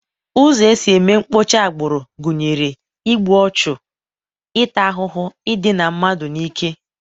Ụzọ e si eme mkpocha agbụrụ gụnyere: igbu ọchụ, ịta ahụhụ, idina mmadụ n'ike, wdg.